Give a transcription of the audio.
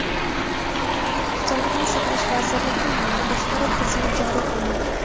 Sog‘liqni saqlash vazirligida yangi boshqaruv tizimi joriy qilinadi.